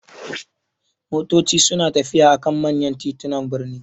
Motoci na tafiya a kan manya titunan birni.